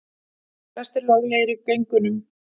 Flestir löglegir í göngunum